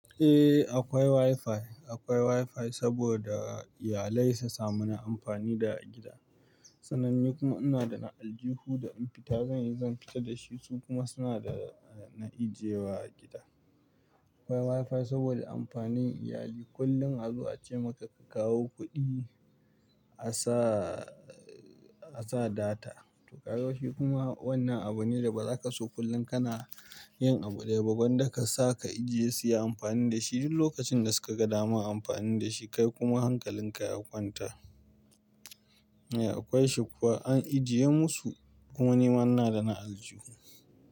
Eh akwai WiFi, akwai WiFi saboda iyalai su samu na amfani da gida. Sananne kuma ina da na aljihu da in fita zan yi, zan fita da shi su kuma suna da na ajiye wa gida. Akwai WiFi saboda amfanin iyali. Kullum a zo a ce maka ka kawo kuɗi a sa, a sa data to ƙaroshi kuma wannan abu ne da ba za ka so kullum ka na yin abu ɗaya ba. Ban da ka sa ka ajiye su yi amfani da shi duk lokacin da suka ga dama amfani da shi kai kuma hankalin ka ya kwanta. Eh akwai shi kuwa an ajiye musu kuma ni man na da na aljihu.